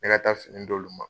Ne ka taa fini d'olu ma.